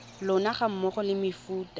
lona ga mmogo le mefuta